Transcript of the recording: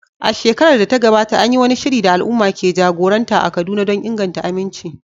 A shekarar da ta gabata, an yi wani shiri da al’umma ke jagoranta a Kaduna don inganta aminci.